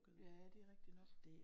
Ja det er rigtig nok